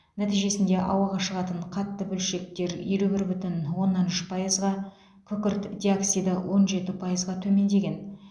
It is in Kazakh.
нәтижесінде ауаға шығатын қатты бөлшектер елу бір бүтін оннан үш пайызға күкірт диоксиді он жеті пайызға төмендеген